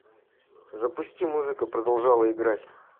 запусти музыка продолжала играть